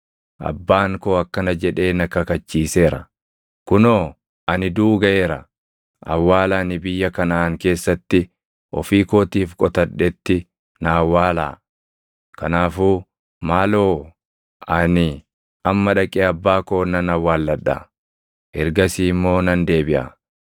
‘Abbaan koo akkana jedhee na kakachiiseera; “Kunoo ani duʼuu gaʼeera; awwaala ani biyya Kanaʼaan keessatti ofii kootiif qotadhetti na awwaalaa.” Kanaafuu maaloo ani amma dhaqee abbaa koo nan awwaalladha; ergasii immoo nan deebiʼa.’ ”